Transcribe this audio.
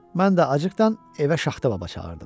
Mən də acıqdan evə şaxta baba çağırdım.